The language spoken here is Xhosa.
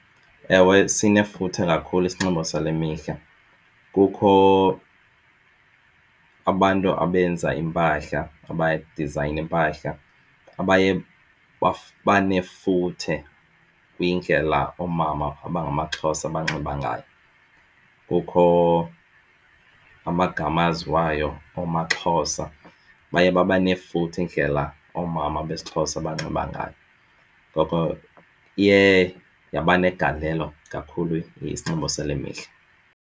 Ewe, sinefuthe kakhulu isinxibo sale mihla. Kukho abantu abenza iimpahla abadizayina iimpahla, abaye banefuthe kwindlela oomama abangamaXhosa abanxiba ngayo. Kukho amagama aziwayo oomaXhosa, baye baba nefuthe indlela oomama besiXhosa abanxiba ngayo. Ngoko iye yaba negalelo kakhulu isinxibo sale mihla.